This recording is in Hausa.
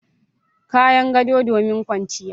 Kayan gado domin kwanciya.